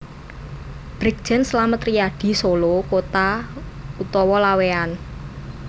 Brigjen Slamet Riyadi Solo Kota/Laweyan